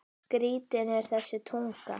Skrítin er þessi tunga.